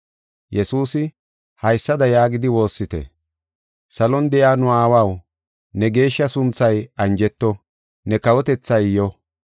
Yesuusi, “Haysada yaagidi woossite: “ ‘Salon de7iya nu aawaw ne geeshsha sunthay anjeto; ne kawotethay yo.